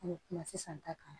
An bɛ kuma sisan ta kan